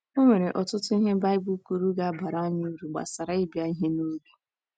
E nwere ọtụtụ ihe Baịbụl kwuru ga - abara anyị uru, gbasara ịbịa ihe n’oge.